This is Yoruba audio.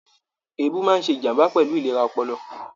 Èébù máa ṣe ìjàmbá pẹlú ìlera ọpọlọ.